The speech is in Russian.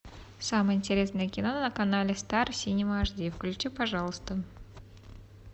самое интересное кино на канале стар синема аш ди включи пожалуйста